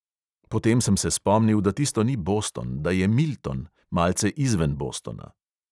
Potem sem se spomnil, da tisto ni boston, da je milton, malce izven bostona.